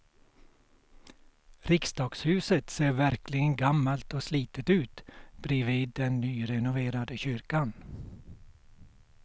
Riksdagshuset ser verkligen gammalt och slitet ut bredvid den nyrenoverade kyrkan.